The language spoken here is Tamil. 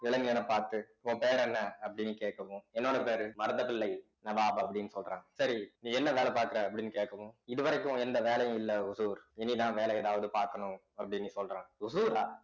இளைஞனைப் பார்த்து உன் பேர் என்ன அப்படின்னு கேட்கவும் என்னோட பேரு மருதபிள்ளை நவாப் அப்படின்னு சொல்றான் சரி நீ என்ன வேலை பார்க்கிற அப்படின்னு கேட்கவும் இது வரைக்கும் எந்த வேலையும் இல்ல ஓசூர் இனிதான் வேலை ஏதாவது பார்க்கணும் அப்படின்னு சொல்றான் ஓசூர்ரா